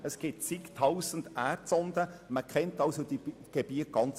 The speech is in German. Es gibt Tausende Erdsonden, sodass man die Gebiete genau kennt.